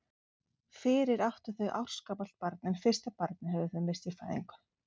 Fyrir áttu þau ársgamalt barn en fyrsta barnið höfðu þau misst í fæðingu.